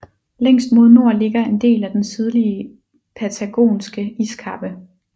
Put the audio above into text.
Længst mod nord ligger en del af den Sydlige Patagonske Iskappe